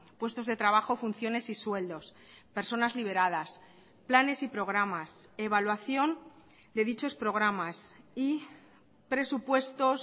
puestos de trabajo funciones y sueldos personas liberadas planes y programas evaluación de dichos programas y presupuestos